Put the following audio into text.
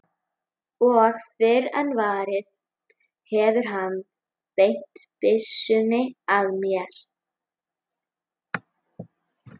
Og fyrr en varir hefur hann beint byssunni að mér.